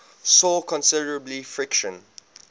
saw considerable friction